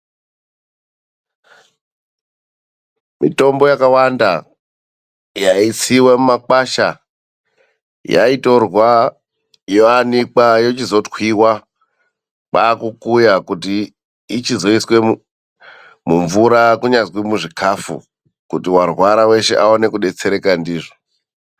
Mitombo yakawanda yaitsiwa mumakwasha yaitorwa yoanikwa yochizotwiwa, kwaakukuya kuti ichizoiswe mumvura kunyazwi muzvikafu kuti warwara weshe aone kudetsereka ndizvo.